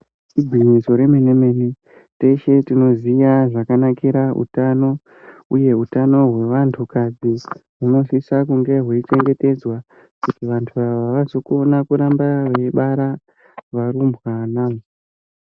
Igwinyiso remene mene teshe tinoziya zvakanakira utano uye utano hwevantukadzi hunosisa kunge hweichengetedzwa kuti vantu ava vazokona kuramba veibara varumbwana.